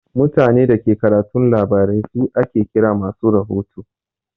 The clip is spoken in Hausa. Mutanen Dake karatun labarai su ake kira masu rahoto.